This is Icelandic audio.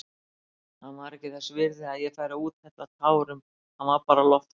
Hann var ekki þess virði að ég færi að úthella tárum, hann var bara loftbóla.